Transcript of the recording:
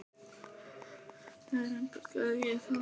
Nei reyndar gerði ég það ekki.